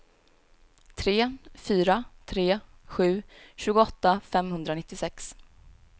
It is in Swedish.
tre fyra tre sju tjugoåtta femhundranittiosex